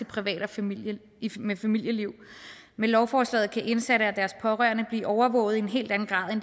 privat og familieliv med familieliv med lovforslaget kan indsatte og deres pårørende blive overvåget i en helt anden grad